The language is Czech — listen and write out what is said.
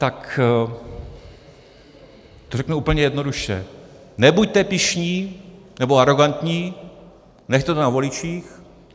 Tak to řeknu úplně jednoduše: Nebuďte pyšní nebo arogantní, nechte to na voličích.